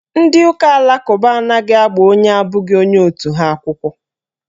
Ndị ụka alakụba anaghị agba onye abụghị onye otu ha akwụkwọ.